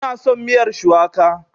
Ina son miyar shuwaka.